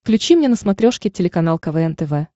включи мне на смотрешке телеканал квн тв